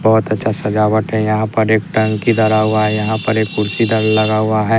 बहोत अच्छा सजावट है यहां पर एक टंकी धरा हुआ है यहां पर एक कुर्सी लगा हुआ है।